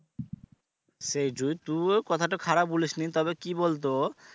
সে যদি তুও কথাটা খারাপ বলিস নি তবে কি বলতো